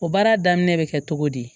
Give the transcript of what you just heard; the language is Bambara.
O baara daminɛ bɛ kɛ cogo di